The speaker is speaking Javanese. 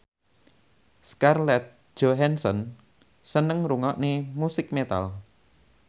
Scarlett Johansson seneng ngrungokne musik metal